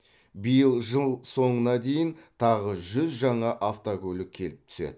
биыл жыл соңына дейін тағы жүз жаңа автокөлік келіп түседі